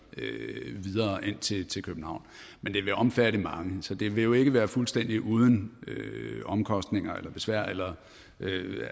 videre ind til til københavn men det vil omfatte mange så det vil jo ikke være fuldstændig uden omkostninger eller besvær eller